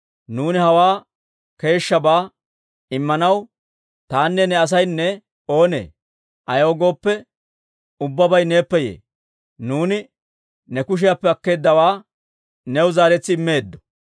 «Nuuni hawaa keeshshabaa Immanaw tanne ta asaynne oonee? Ayaw gooppe, ubbabay neeppe yee; nuuni ne kushiyaappe akkeeddawaa new zaaretsi immeedda.